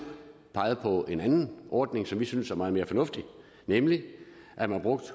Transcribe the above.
peget på en anden ordning som vi synes er meget mere fornuftig nemlig at man bruger